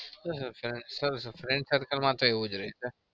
sir friend circle માં એવું જ રે.